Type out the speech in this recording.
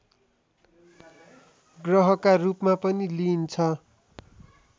ग्रहका रूपमा पनि लिइन्छ